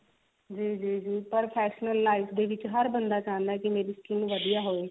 ਜੀ ਜੀ ਜੀ ਪਰ professional ਦੇ life ਦੇ ਵਿੱਚ ਹਰ ਬੰਦਾ ਚਾਹੁੰਦਾ ਕਿ ਮੇਰੀ skin ਵਧੀਆ ਹੋਵੇ